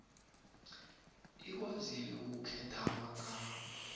ikwazile ukukhetha amagama